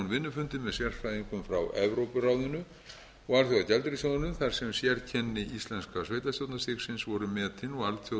vinnufundi með sérfræðingum frá evrópuráðinu og alþjóðagjaldeyrissjóðnum þar sem sérkenni íslenskra sveitarstjórnarstigsins voru metin og alþjóðleg reynsla hvað